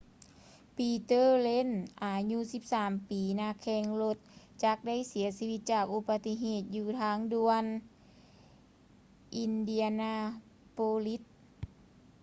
peter lenz ອາຍຸ 13 ປີ ນັກແຂ່ງລົດຈັກໄດ້ເສຍຊີວິດຈາກອຸບັດຕິເຫດຢູ່ທາງດ່ວນ indianapolis